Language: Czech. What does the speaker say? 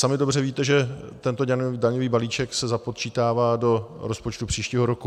Sami dobře víte, že tento daňový balíček se započítává do rozpočtu příštího roku.